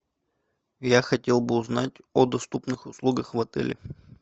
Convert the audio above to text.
я хотел бы узнать о доступных услугах в отеле